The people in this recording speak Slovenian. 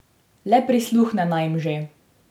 Le prisluhne naj jim že!